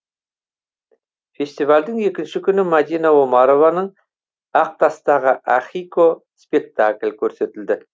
фестивальдің екінші күні мадина омарованың ақтастағы ахико спектакль көрсетілді